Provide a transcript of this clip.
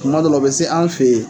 Kuma dɔwla u be se anw fe yen